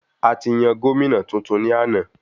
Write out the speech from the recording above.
A ti yan gómìnà tuntun ní àna